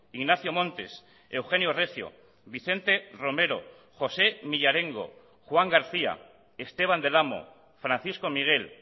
ignacio montes eugenio recio vicente romero josé millarengo juan garcía esteban del amo francisco miguel